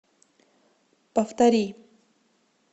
повтори